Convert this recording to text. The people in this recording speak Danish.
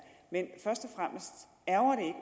men først